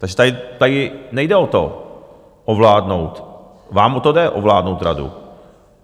Takže tady nejde o to ovládnout - vám o to jde ovládnout radu.